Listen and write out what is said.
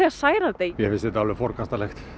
særandi mér finnst þetta alveg forkastanlegt